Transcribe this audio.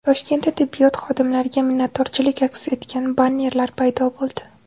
Toshkentda tibbiyot xodimlariga minnatdorchilik aks etgan bannerlar paydo bo‘ldi .